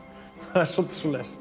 það er svolítið svoleiðis